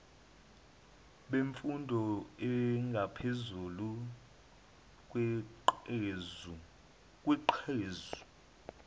bemfundo engaphezulu kweqhuzu